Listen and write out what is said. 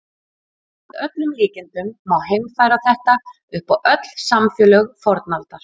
Að öllum líkindum má heimfæra þetta upp á öll samfélög fornaldar.